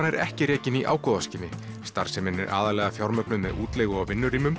er ekki rekin í ágóðaskyni starfsemin er fjármögnuð með útleigu á